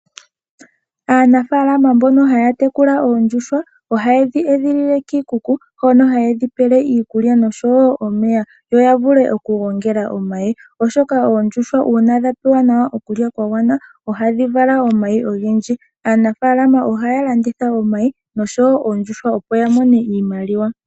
Aanafalama mbono haya tekula oondjuhwa ohaye dhi edhilile kiikuku hono haye dhi pele iikulya nosho wo omeya yo ya vule okugongela omayi, oshoka oondjuhwa uuna dha pewa nawa okulya kwa gwana ohadhi vala omayi ogendji. Aanafaalama ohaya landitha omayi nosho wo oondjuhwa, opo ya mone iimaliwa.